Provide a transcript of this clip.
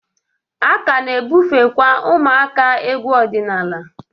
A ka na-ebufekwa ụmụaka egwu ọdịnala.